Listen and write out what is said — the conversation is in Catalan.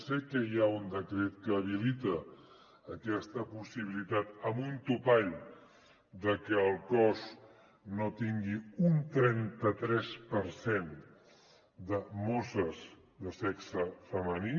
sé que hi ha un decret que habilita aquesta possibilitat amb un topall de que el cos no tingui un trenta tres per cent de mosses de sexe femení